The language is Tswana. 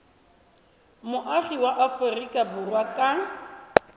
moagi wa aforika borwa ka